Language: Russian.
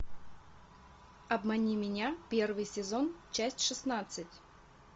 обмани меня первый сезон часть шестнадцать